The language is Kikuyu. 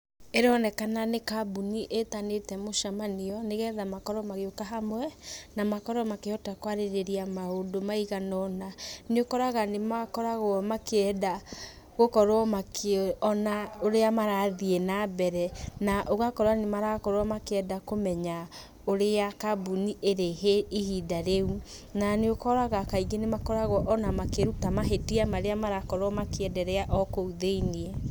Ĩronekana nĩ kambũni ĩtanĩte mũcemanio, nĩgetha makorwo magĩũka hamwe, na makorwo makĩhota kwarĩrĩria maũndũ maigana ũna. Nĩũkoraga nĩmakoragũo makĩenda gũkorwo makĩona ũrĩa marathiĩ nambere, na ũgakora nĩmarakorwo makĩenda kũmenya ũrĩa kambuni ĩrĩ ihinda rĩu. Na nĩũkoraga kaingĩ nĩmakoragũo ona makĩrũtwo mahĩtia marĩa marakorwo makĩenderea o kũu thĩiniĩ.